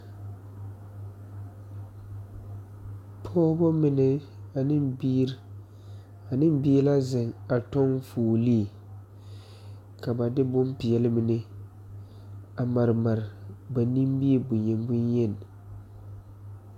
Pɔɔbɔ mind ane biire and bie la zeŋ a tɔŋ fuolee ka ba de bonpeɛle mine a mare mare ba nimie bonyen bonyen.